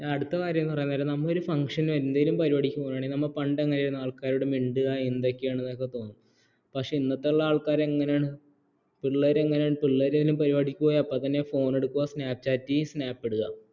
അടുത്തകാര്യം പറയുന്നതെന്താണെന്ന ഒരു function എന്തേലും പരിപാടിക്ക് പോണേല് പണ്ടെങ്ങാനേരുന്നു ആൾക്കാരോട് മിണ്ടുക എന്തൊക്കെയാണെന്ന് പക്ഷേ ഇന്നത്തുള്ള ആള്ക്കാര് എങ്ങനേണ് പിള്ളേരെങ്ങനെണ് പിള്ളേര് ഏതേലും പരിപാടിക്ക് പോയ ഉടനെ snapchat ചെയ്യും snap ഇടുക